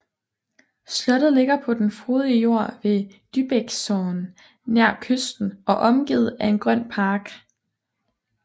Slottet ligger på den frodige jord ved Dybäcksån nær kysten og omgivet af en grøn park